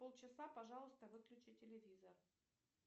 полчаса пожалуйста выключи телевизор